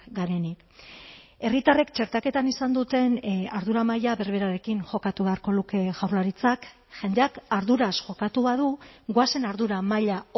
garenik herritarrek txertaketan izan duten ardura maila berberarekin jokatu beharko luke jaurlaritzak jendeak arduraz jokatu badu goazen ardura maila